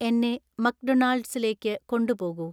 എന്നെ മക്ഡൊണാൾഡ്സിലേക്ക് കൊണ്ടുപോകൂ